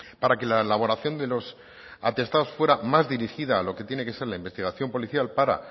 para que la elaboración de los atestados fuera más dirigida a lo que tiene que ser la investigación policial para